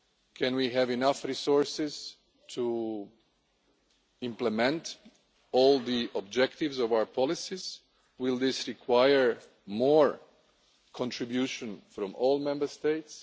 Can we have enough resources to implement all the objectives of our policies? Will this require more contributions from all Member States?